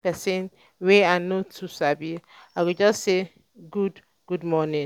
when i see person wey i no too sabi i go just say "good "good morning."